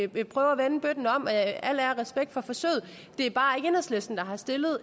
vil prøve at vende bøtten om al al ære og respekt for forsøget det er bare